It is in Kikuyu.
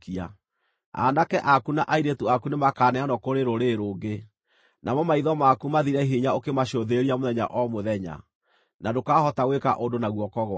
Aanake aku na airĩtu aku nĩmakaneanwo kũrĩ rũrĩrĩ rũngĩ, namo maitho maku mathire hinya ũkĩmacũthĩrĩria mũthenya o mũthenya, na ndũkahota gwĩka ũndũ na guoko gwaku.